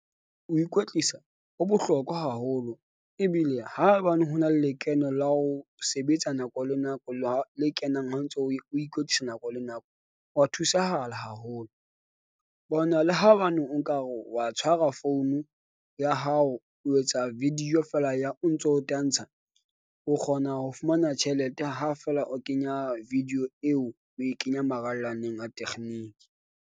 Ho ikwetlisa ho bohlokwa haholo ebile ha hobane hona le lekeno la ho sebetsa nako le nako le wa le kenang ha ntso o ikwetlisa nako le nako wa thusahala haholo. Bona, le ha hobaneng o nka re wa tshwara founu ya hao. O etsa video fela ya o ntso o tantsha, o kgona ho fumana tjhelete ha fela o kenya video eo o e kenya marallaneng a tekgeniki.